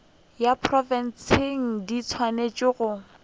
ya profense di swanetše go